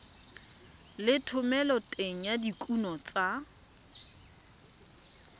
le thomeloteng ya dikuno tsa